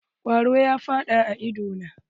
Kwaro ya faɗa a ido na.